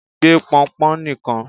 gbé pọnpọn nìkan!